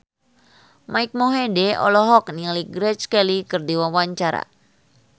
Mike Mohede olohok ningali Grace Kelly keur diwawancara